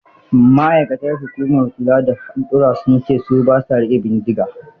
Ma'aikatan hukumar kula da haɗurra sun ce su ba sa riƙe bindiga.